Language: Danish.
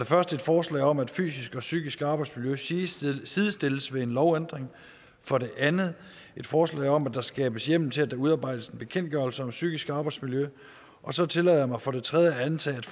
første et forslag om at fysisk og psykisk arbejdsmiljø sidestilles sidestilles ved en lovændring for det andet et forslag om at der skabes hjemmel til at der udarbejdes en bekendtgørelse om psykisk arbejdsmiljø og så tillader jeg mig for det tredje at antage at